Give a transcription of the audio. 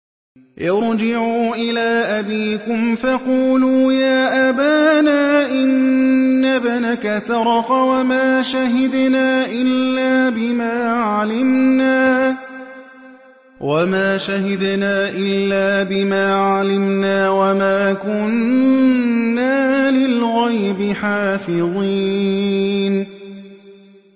ارْجِعُوا إِلَىٰ أَبِيكُمْ فَقُولُوا يَا أَبَانَا إِنَّ ابْنَكَ سَرَقَ وَمَا شَهِدْنَا إِلَّا بِمَا عَلِمْنَا وَمَا كُنَّا لِلْغَيْبِ حَافِظِينَ